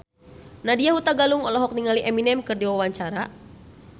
Nadya Hutagalung olohok ningali Eminem keur diwawancara